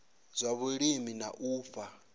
zwa vhulimi na u fha